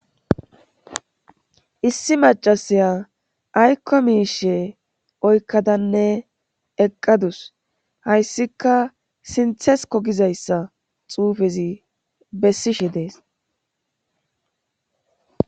Issi macasiya aykko miishe oykkadanne eqqadus hayssika sinthesko gizayssa xuufezi bessishe dees